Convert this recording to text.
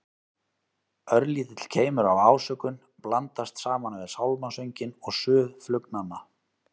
Örlítill keimur af ásökun blandast saman við sálmasönginn og suð flugnanna.